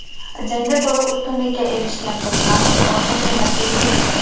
Jangda to‘liq ustunlikka erishgan Do‘smatov oltin medalga ega chiqdi.